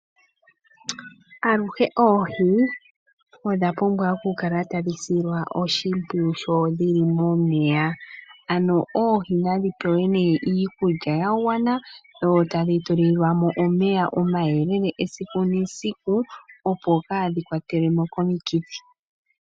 Aluhe oohi odha pumbwa oku kala tadhi silwa oshimpwiyu sho dhi li momeya. Oohii nadhi pewe iikulya ya gwana dho tadhi tulilwamo omeya gayela esiku nesiku, opo kaadhi kwatwe komikithi.